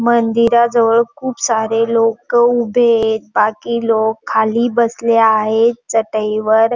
मंदिराजवळ खुप सारे लोक उभेयेत. बाकी लोक खाली बसले आहेत चटई वर.